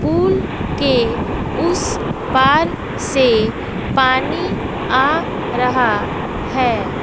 पुल के उस पार से पानी आ रहा है।